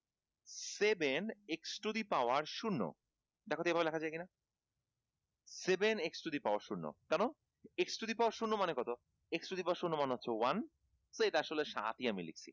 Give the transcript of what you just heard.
seven x to the power শূণ্য দেখতো এভাবে লেখা যায় কি না seven x to the power শূণ্য কেনো x to the power শূণ্য মানে কত? x to the power শূণ্যমানে হচ্ছে one আসলে সাতই আমি লিখছি